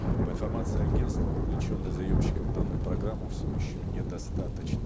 по информации агенства вовлеченных заемщиков в данную программу все еще не достаточно